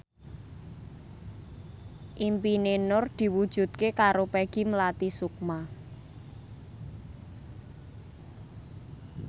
impine Nur diwujudke karo Peggy Melati Sukma